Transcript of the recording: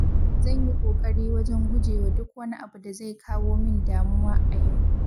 Zan yi ƙoƙari wajen gujewa duk wani abu da zai kawo min damuwa a yau.